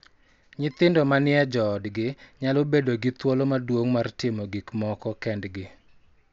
Nyithindo ma ni e joodgi nyalo bedo gi thuolo maduong� mar timo gik moko kendgi